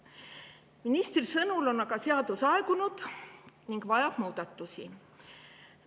Ministri sõnul on aga seadus aegunud ning vajab muudatusi.